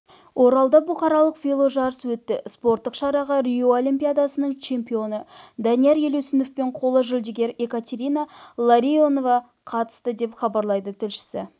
оралда бұқаралық веложарыс өтті спорттық шараға рио олимпиадасының чемпионы данияр елеусінов пен қола жүлдегер екатерина ларионова қатысты деп хабарлайды тілшісі